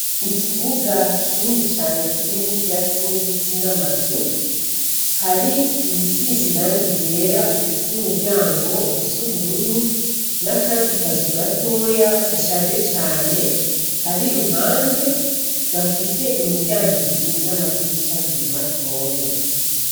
Ikibuga kinini cane kirimwo ivyatsi n'ibiti n'amazu. Hari iyisize irangi ryera ifise imiryango isa ubururu n'akandi kazu gatoya gashaje cane kari iruhande, gafise imiryango ibiri n'amadirisha abiri matoya.